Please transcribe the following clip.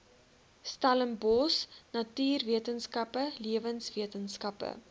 stellenbosch natuurwetenskappe lewenswetenskappe